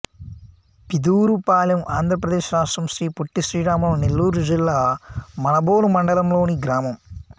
పిదూరుపాలెం ఆంధ్ర ప్రదేశ్ రాష్ట్రం శ్రీ పొట్టి శ్రీరాములు నెల్లూరు జిల్లా మనుబోలు మండలం లోని గ్రామం